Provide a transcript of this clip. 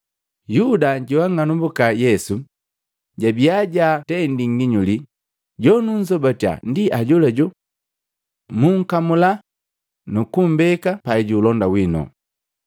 Yuda joang'anumbuka Yesu, jabia jaatendi nginyuli, “Jonukunzobatiya ndi ajolajo. Mukamula nukumbeka paijuulonda wino.”